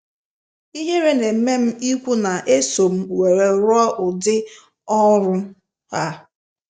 Ihere na-eme m ikwu n’eso m were rụọ udi ọrụ a.